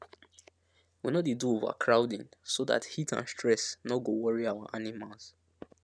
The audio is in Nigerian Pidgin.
we no dey do overcrowding so dat heat and stress no go worry our animals